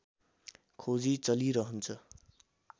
खोजी चलिरहन्छ